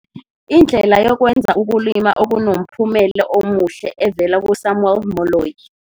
Indlela yokwenza ukulima okunomphumelo omuhle evela kuSamuel Moloi